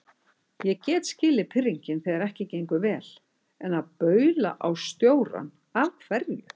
Ég get skilið pirringinn þegar ekki gengur vel, en að baula á stjórann. af hverju?